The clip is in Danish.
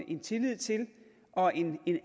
en tillid til og en